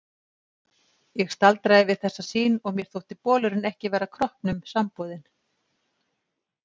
Ég staldraði við þessa sýn og mér þótti bolurinn ekki vera kroppnum samboðinn.